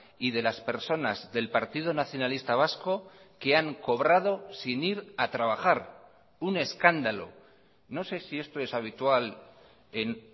y de las personas del partido nacionalista vasco que han cobrado sin ir a trabajar un escándalo no sé si esto es habitual en